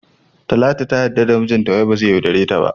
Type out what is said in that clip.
Talatu ta yarda da mijinta wai bazai iya yaudareta.